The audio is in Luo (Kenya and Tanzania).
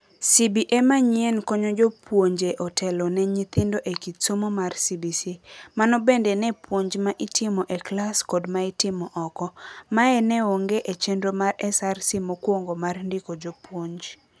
CBA manyien konyo jopuonje otelo ne nyithindo e kit somo mar CBC. Mano bende ne puonj ma itimo e klas kod maitimo oko. Mae neonge e chenro mar SRC mokwongo mar ndiko jopuonj.